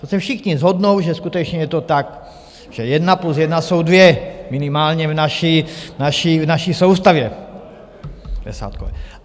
To se všichni shodnou, že skutečně je to tak, že jedna plus jedna jsou dvě, minimálně v naší soustavě.